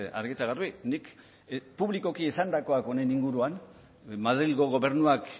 argi eta garbi nik publikoki esandakoak honen inguruan madrilgo gobernuak